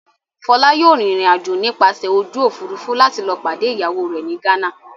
Fọlá yóò rìnrìn-àjò nípasẹ̀ ojú òfurufú láti lọ pàdé ìyàwó rẹ̀ ní Ghana.